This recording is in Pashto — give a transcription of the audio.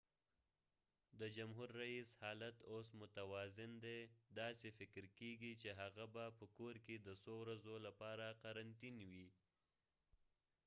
د جمهور ریېس حالت اوس متوازن دی داسې فکر کېږی چې هغه به په کور کې د څو ورځو لپاره قرنطین وي